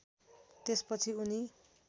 त्यस पछि उनी